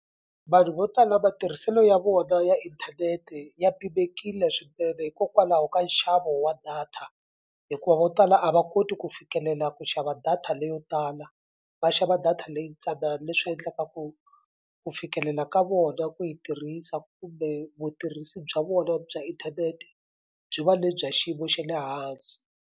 Vanhu vo tala matirhiselo ya vona ya inthanete ya pimekile swinene hikokwalaho ka nxavo wa data hikuva vo tala a va koti ku fikelela ku xava data leyo tala va xava data leyi tsanana leswi endlaka ku ku fikelela ka vona ku yi tirhisa kumbe vutirhisi bya vona bya inthanete byi va le bya xiyimo xa le hansi.